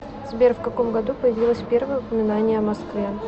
сбер в каком году появилось первое упоминание о москве